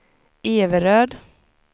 Everöd